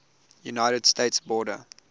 united states border